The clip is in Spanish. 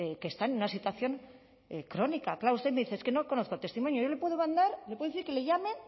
que están en una situación crónica claro usted me dice es que no conozco el testimonio yo le puedo mandar le puedo decir que le llame